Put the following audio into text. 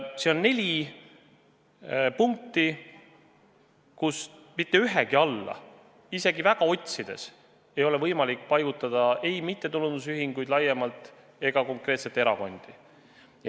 Selle neljast punktist mitte ühegi alla isegi väga hoolega otsides ei ole võimalik paigutada ei mittetulundusühinguid laiemalt ega konkreetselt erakondi.